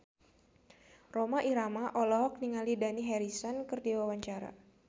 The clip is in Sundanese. Rhoma Irama olohok ningali Dani Harrison keur diwawancara